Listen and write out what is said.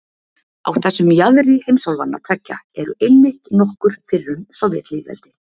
Á þessum jaðri heimsálfanna tveggja eru einmitt nokkur fyrrum sovétlýðveldi.